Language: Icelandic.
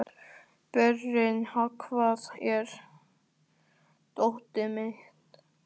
Berent, hvar er dótið mitt?